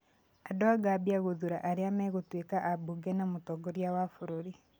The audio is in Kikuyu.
Andũ a Gambia gũthuura arĩa megũtuĩka abunge na mũtongoria wa bũrũri